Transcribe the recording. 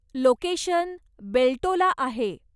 Location Beltola आहे.